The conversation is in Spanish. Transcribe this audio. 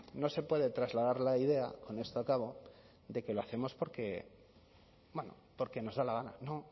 no se puede trasladar la idea con esto acabo de que lo hacemos porque nos da la gana no